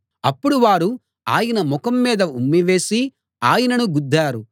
అప్పుడు వారు ఆయన ముఖం మీద ఉమ్మి వేసి ఆయనను గుద్దారు